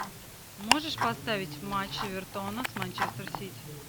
можешь поставить матч эвертона с манчестер сити